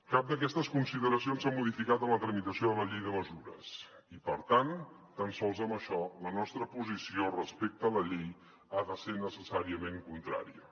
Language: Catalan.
cap d’aquestes consideracions s’ha modificat en la tramitació de la llei de mesures i per tant tan sols amb això la nostra posició respecte a la llei ha de ser necessàriament contrària